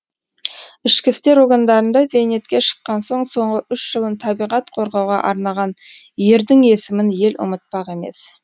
ішкі істер органдарында зейнетке шыққан соң соңғы үш жылын табиғат қорғауға арнаған ердің есімін ел ұмытпақ емес